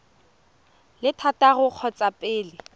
le thataro ka kgotsa pele